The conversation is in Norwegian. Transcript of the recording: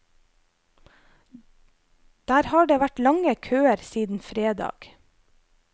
Der har det vært lange køer siden fredag.